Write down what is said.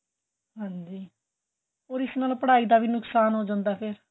ਹਾਂਜੀ ਔਰ ਇਸ ਨਾਲ ਪੜਾਈ ਦਾ ਵੀ ਨੁਕਸ਼ਾਨ ਹੋ ਜਾਂਦਾ ਏ ਫ਼ਿਰ